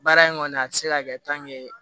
Baara in kɔni a tɛ se ka kɛ